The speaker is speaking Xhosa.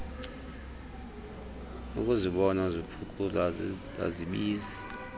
ukuzibona ziphuculwa azibizi